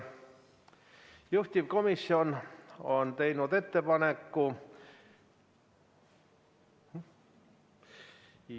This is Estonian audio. Juhtivkomisjon on teinud ettepaneku ...